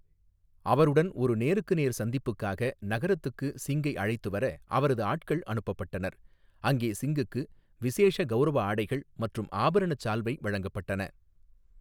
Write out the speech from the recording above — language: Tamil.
அவருடன் ஒரு நேருக்கு நேர் சந்திப்புக்காக நகரத்துக்கு சிங்கை அழைத்து வர அவரது ஆட்கள் அனுப்பப்பட்டனர், அங்கே சிங்குக்கு 'விசேஷ கௌரவ ஆடைகள்' மற்றும் ஆபரணச் சால்வை வழங்கப்பட்டன.